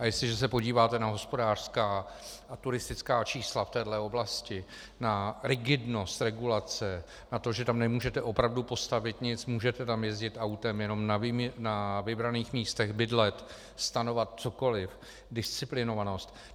A jestliže se podíváte na hospodářská a turistická čísla v téhle oblasti, na rigidnost regulace, na to, že tam nemůžete opravdu postavit nic, můžete tam jezdit autem jenom na vybraných místech, bydlet, stanovat, cokoli, disciplinovanost...